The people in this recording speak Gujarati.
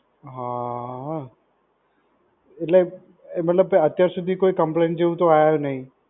હાં, એટલે મતલબ કે અત્યાર સુધી કોઈ complain જેવુ તો આવ્યું જ નઇ.